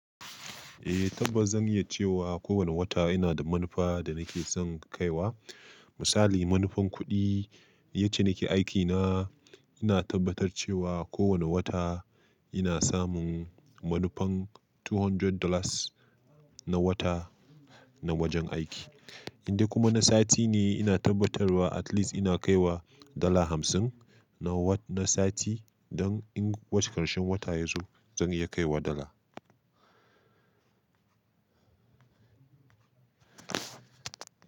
Eh tabbas zan iya cewa kowane wata ina da manufa da nake san kai wa. Misali, manufan kuɗi, yacce nake aikina ina tabbatar cewa kowane wata ina samun manufan two hundred dollars na wata na wajen aiki. In dai kuma na sati ne ina tabbatarwa at least ina kaiwa dala hamsin na sa-na sati don in wace ƙarshen wata ya zo zan iya kaiwa dala.